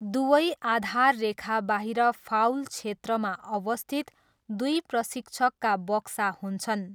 दुवै आधार रेखाबाहिर फाउल क्षेत्रमा अवस्थित दुई प्रशिक्षकका बक्सा हुन्छन्।